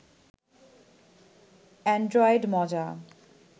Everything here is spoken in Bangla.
এন্ড্রয়েড মজা